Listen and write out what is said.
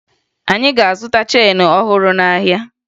Anyị ga-azụta cheenu ọhụrụ n'ahịa